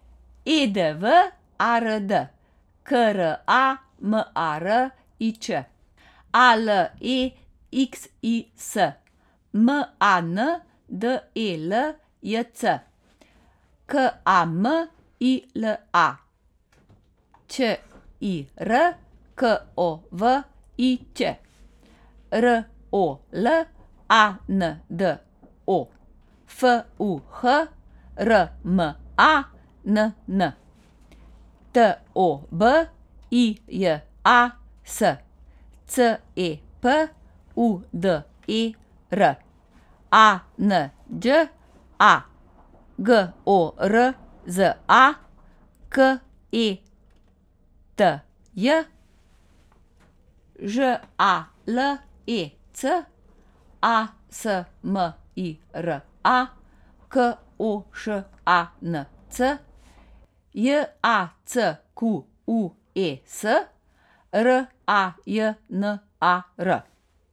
E D W A R D, K R A M A R I Č; A L E X I S, M A N D E L J C; K A M I L A, Ć I R K O V I Ć; R O L A N D O, F U H R M A N N; T O B I J A S, C E P U D E R; A N Đ A, G O R Z A; K E T J, Ž A L E C; A S M I R A, K O Š A N C; J A C Q U E S, R A J N A R.